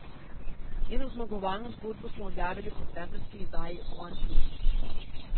Njeno zmagovalno zgodbo smo objavili v septembrski izdaji Oneplus.